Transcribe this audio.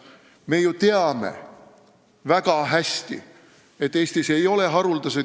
Me ju teame väga hästi, et Eestis ei ole haruldased ...